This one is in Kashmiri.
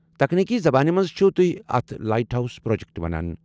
تکنیکی زبانہِ منٛز چھِو تُہۍ اتھ لائٹ ہاؤس پروجیکٹ ونان۔